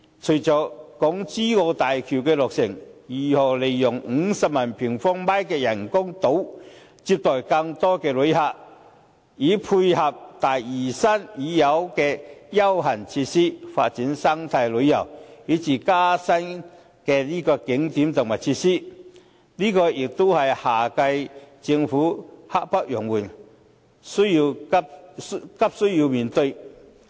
隨着港珠澳大橋的落成，如何利用50萬平方米的人工島接待更多旅客，以配合大嶼山已有的休閒設施，發展生態旅遊以至增加新景點及設施，亦是現屆和下屆政府刻不容緩、急需要面對的。